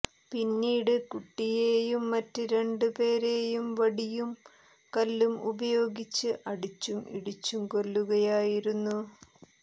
പിന്നീട് കുട്ടിയെയും മറ്റ് രണ്ട് പേരെയും വടിയും കല്ലും ഉപയോഗിച്ച് അടിച്ചും ഇടിച്ചും കൊല്ലുകയായിരുന്നു